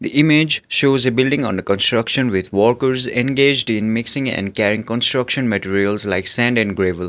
the image shows a building under construction with workers engaged in mixing and carrying construction materials like sand and gravel.